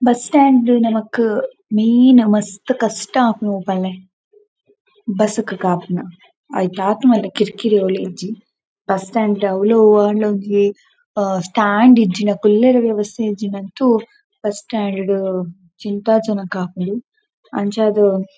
Bus stand ಡ್ ನಮಕ್ ಮೈನ್ ಮಸ್ತ್ ಕಷ್ಟ ಆಪುನು ಒವು ಪನ್ಲೆ ಬಸ್ ಕ್ ಕಾಪುನ ಐತಾತ್ ಮಲ್ಲ ಕಿರಿಕಿರಿ ಒವುಲ ಇಜ್ಜಿ. ಬಸ್ ಸ್ಟಾಂಡ್ ದ ಅವ್ಲು ಒವ್ವಾಂಡಲ ಒಂಜಿ ಆ ಸ್ಟಾಂಡ್ ಇಜ್ಜಿಂಡ ಕುಲ್ಲೆರೆ ವ್ಯವಸ್ಥೆ ಇಜ್ಜಿಂಡ ಅಂತು ಬಸ್ ಸ್ಟಾಂಡ್ ಡ್ ಚಿಂತಾಜನಕ ಆಪುಂಡು ಅಂಚಾದ್--